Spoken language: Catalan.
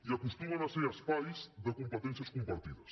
i acostumen a ser espais de competències compartides